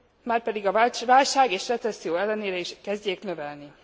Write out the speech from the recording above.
márpedig a válság és recesszió ellenére is kezdjék növelni.